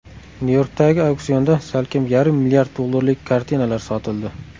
Nyu-Yorkdagi auksionda salkam yarim mlrd dollarlik kartinalar sotildi.